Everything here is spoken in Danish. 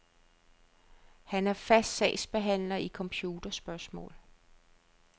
Han er fast sagsbehandler i computerspørgsmål.